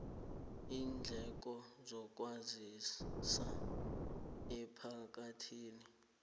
iindleko zokwazisa emphakathini